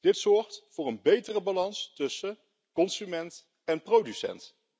Dit zorgt voor een betere balans tussen consument en producent.